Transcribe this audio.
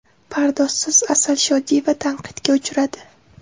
Pardozsiz Asal Shodiyeva tanqidga uchradi.